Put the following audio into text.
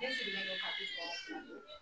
den sigilen don